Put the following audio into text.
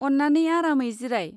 अन्नानै आरामै जिराय।